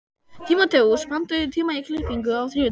Tímóteus, pantaðu tíma í klippingu á þriðjudaginn.